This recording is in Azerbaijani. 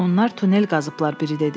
Onlar tunel qazıblar.